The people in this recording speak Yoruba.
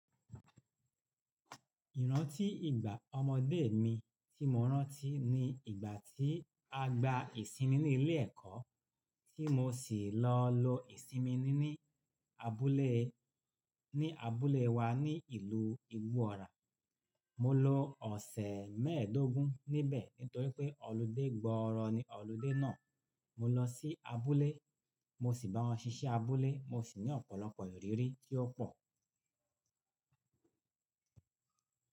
Ìrántí ìgbà ọmọdé mi tí mo rántí ní ìgbà tí a gba ìsinmi ní ilé ẹ̀kọ́ tí mo sì lọ lo ìsinmi ní abúlé ní abúlé wa ní ìlú Igbó Ọrà. Mo lo ọ̀sẹ̀ mẹ́ẹ̀dógún níbẹ̀ nítorí pé ọludé gbọ́ọrọ ni ọludé náà. Mo lọ sí abúlé, mo sì bá wọn ṣiṣẹ́ abúlé, mo sì ní ọ̀pọ̀lọpọ̀ ìrírí tí ó pọ̀.